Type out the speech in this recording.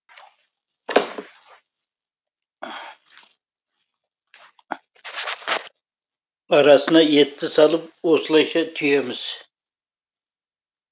арасына етті салып осылайша түйеміз